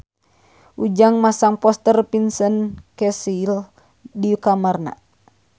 Ujang masang poster Vincent Cassel di kamarna